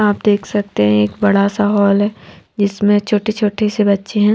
आप देख सकते हैं एक बड़ा सा हाल है जिसमें छोटे छोटे से बच्चे हैं।